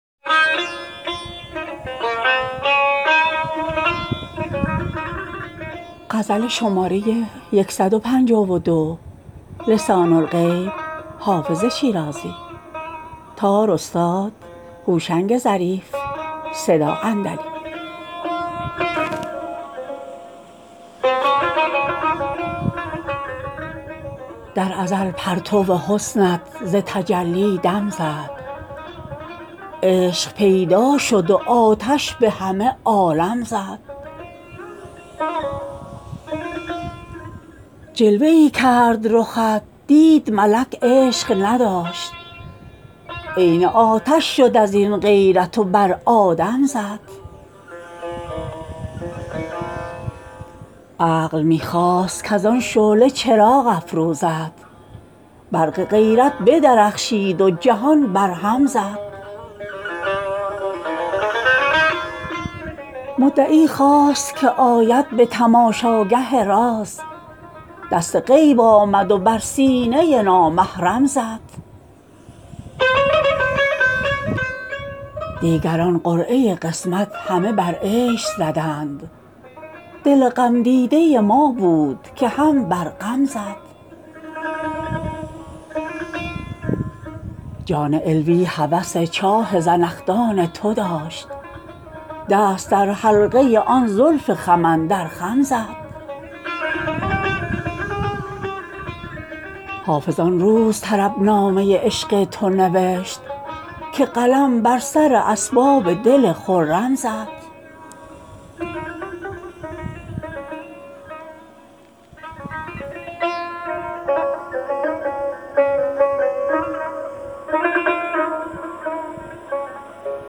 در ازل پرتو حسنت ز تجلی دم زد عشق پیدا شد و آتش به همه عالم زد جلوه ای کرد رخت دید ملک عشق نداشت عین آتش شد از این غیرت و بر آدم زد عقل می خواست کز آن شعله چراغ افروزد برق غیرت بدرخشید و جهان برهم زد مدعی خواست که آید به تماشاگه راز دست غیب آمد و بر سینه نامحرم زد دیگران قرعه قسمت همه بر عیش زدند دل غمدیده ما بود که هم بر غم زد جان علوی هوس چاه زنخدان تو داشت دست در حلقه آن زلف خم اندر خم زد حافظ آن روز طربنامه عشق تو نوشت که قلم بر سر اسباب دل خرم زد